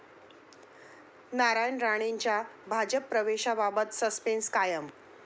नारायण राणेंच्या भाजप प्रवेशाबाबत सस्पेन्स कायम!